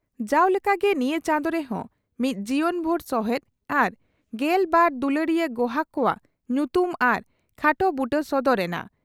ᱡᱟᱣ ᱞᱮᱠᱟᱜᱮ ᱱᱤᱭᱟᱹ ᱪᱟᱸᱫᱚ ᱨᱮᱦᱚᱸ ᱢᱤᱫ ᱡᱤᱵᱚᱱᱵᱷᱩᱨ ᱥᱚᱦᱮᱫ ᱟᱨ ᱜᱮᱞ ᱵᱟᱨ ᱫᱩᱞᱟᱹᱲᱤᱭᱟᱹ ᱜᱚᱦᱟᱠ ᱠᱚᱣᱟᱜ ᱧᱩᱛᱩᱢ ᱟᱨ ᱠᱷᱟᱴᱚ ᱵᱩᱴᱟᱹ ᱥᱚᱫᱚᱨ ᱮᱱᱟ ᱾